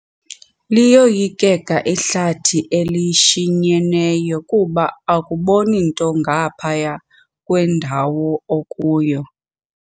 Liyoyikeka ihlathi elishinyeneyo kuba akuboni nto ngaphaya kwendawo okuyo.